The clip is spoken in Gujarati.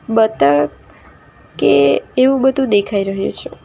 બતક કે એવું બધું દેખાઈ રહ્યું છે.